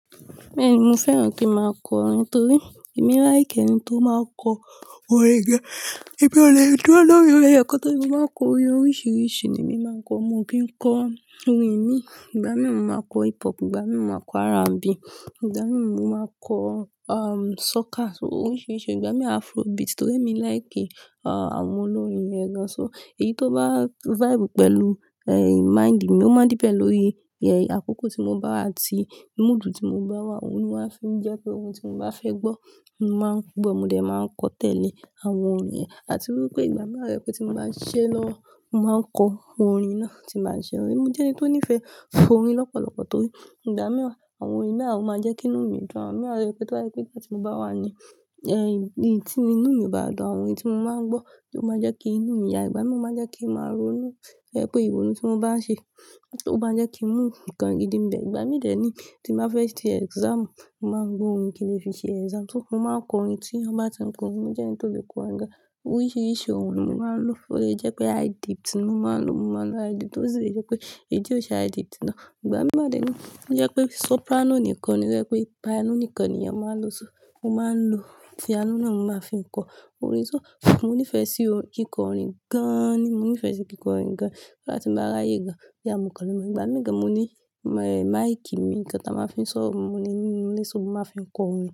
Bẹ́ẹ̀ni, mo fẹ́ràn kí ń máa kọ orin torí èmi láìki ẹ́ni tó máa kọ orin gan rí. Ẹ̀mi ọle dùn lórí ọrin eyo kan tóri mo máa kọ orin oríṣiríṣi ni mi máa kọ. Mo ò kí ń kọ orin ìmí, ìgbà mìíràn mo máa kọ hip hop, ìgbà mìíràn mo máa kọ R&B, ìgbà mìíràn mo máa kọ, um, sokà, so oríṣiríṣi, ìgbà mìíràn afrobeat torí èmi láì kí, uh, àwọn olórin yen gan. So èyí tó bá vibe pẹ̀lú, uh, mind mi, ó máa dín pẹ̀ lórí, ẹ, àkókò tí mo bá wà àti mood tí mo bá wà. Ohun ni wá fi ń jẹ́ pé ohun tí mo bá fẹ́ gbọ́, mo máa gbọ́, mo dẹ̀ máa kọ tẹ́lẹ̀ àwọn orin rẹ̀. Àti wípé ìgbà mìíràn rẹ̀ pé tí mo bá ṣẹ́ lọ, mo máa kọ orin náà tí màá ṣe orin. Mo jẹ́ ẹni tó nífẹ̀ẹ́ fún orin lọ́pọ̀lọ́pọ̀ torí ìgbà mìíràn àwọn orin méàwà máa jẹ́ kí inú mi dùn. Ìgbà mìíràn rẹ̀ pé tó bá yí pé tí mo bá wà ní, ẹ, ìdí tí inú mi bá dùn, àwọn orin tí mo máa ń gbọ́ ló máa jẹ́ kí inú mi yà. Ìgbà mìíràn ó máa jẹ́ kí màá ronú rẹ̀ pé ìrọ̀nú tí mo bá ń ṣe, ó bá jẹ́ kí n mu ǹkan gidi ń bẹ̀. Ìgbà mìíràn rẹ̀ ni tí mo bá fẹ́ ṣe exam, mo máa ń gbọ́ orin kíni fi ṣe exam. So mo máa kọ orin tí wọn bá tí ń kọ orin. Mo jẹ́ ẹni tó lè kọrin gan oríṣiríṣi ohun mo máa ń lo. Ó lè jẹ́ pé high depth ni mo máa ń lo, mo máa ń lo high depth. Ó sì lè jẹ́ pé èyí ò ṣe high depth ná. Ìgbà mìíràn rẹ̀ ni ó jẹ́ pé soprano nìkan nìyẹn pé piano nìkan ni ẹ máa ń lo. So mo máa ń lo piano náà, mo máa fi kọ orin. So mo nífẹ̀ẹ́ sí kí kọ orin gan ni. Mo nífẹ̀ẹ́ sí kí kọ orin gan. Láti ìgbà táa mo ráyè gan, ìyá mi kọ́ ọ ni mo. Ìgbà mẹ́gàn mo ní, uh, mic mi kan táa mo máa fi sọ, mo ní, mo ní so mo máa fi n kọ orin.